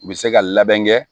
U bɛ se ka labɛn kɛ